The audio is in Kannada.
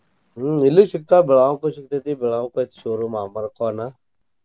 ಹ್ಮ್ ಇಲ್ಲೂ ಸಿಗ್ತಾವ Belgaum ಗು ಸಿಗ್ತೇತಿ Belgaum ಕ ಐತಿ showroom ಅಮರ್ಖಾನ.